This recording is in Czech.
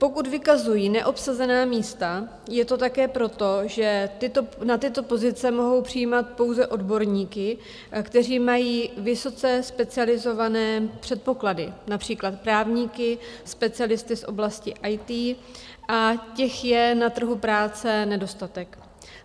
Pokud vykazují neobsazená místa, je to také proto, že na tyto pozice mohou přijímat pouze odborníky, kteří mají vysoce specializované předpoklady, například právníky, specialisty z oblasti IT, a těch je na trhu práce nedostatek.